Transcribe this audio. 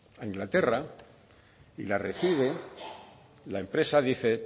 a inglaterra y la recibe la empresa dice